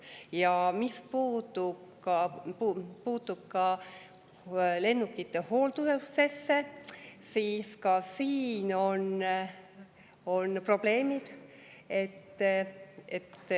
Ja mis puutub lennukite hooldusesse, siis ka siin on probleemid.